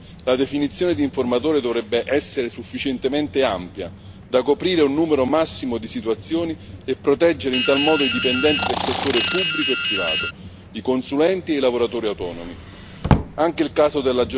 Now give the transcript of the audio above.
Conformemente a tali norme, la definizione di informatore dovrebbe essere sufficientemente ampia da coprire un numero massimo di situazioni e proteggere, in tal modo, i dipendenti del settore pubblico e privato, i consulenti e i lavoratori autonomi.